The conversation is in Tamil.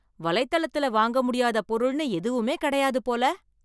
வலைத்தளத்துல வாங்க முடியாத பொருள்னு எதுவுமே கிடையாது போல.